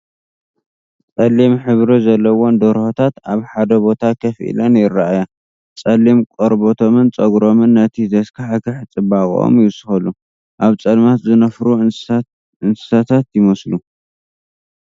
ጸሊም ሕብሪ ዘለወን ደርሆታት ኣብ ሓደ ቦታ ኮፍ ኢለን ይራኣያ። ጸሊም ቆርበቶምን ጸጉሮምን ነቲ ዘስካሕክሕ ጽባቐኦም ይውስኸሉ፣ ኣብ ጸልማት ዝነፍሩ እንስሳታት ይመስሉ።